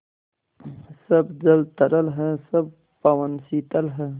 सब जल तरल है सब पवन शीतल है